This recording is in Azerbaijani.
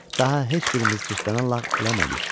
Daha heç birimiz cırtdanına lağ eləmədik.